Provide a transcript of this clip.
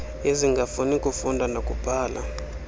ezingafuni kufunda nakubhala